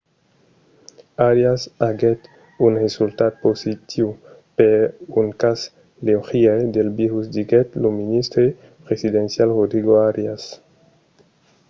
arias aguèt un resultat positiu per un cas leugièr del virus diguèt lo ministre presidencial rodrigo arias